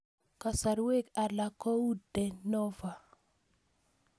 Kasarwek alak kou (de novo)